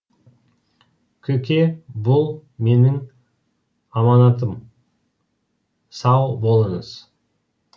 көке бұл менің аманатым сау болыңыз